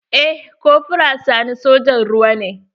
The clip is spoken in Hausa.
Eh kofra sani sojan ruwa ne.